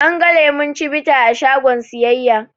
An ga lemon cibita a shagon siyayya